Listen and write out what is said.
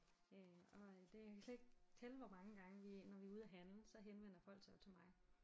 Øh og øh det jeg kan slet ikke tælle hvor mange gange vi når vi er ude og handle så henvender folk sig jo til mig